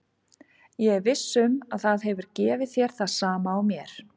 Ég er viss um að það hefur gefið þér það sama og mér.